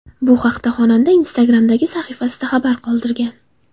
Bu haqda xonanda Instagram’dagi sahifasida xabar qoldirgan .